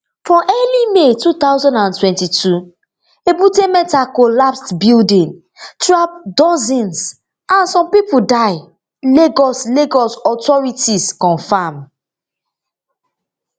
for early may two thousand and twenty-two ebute metta collapsed building trap dozens and some pipo die lagos lagos authorities confam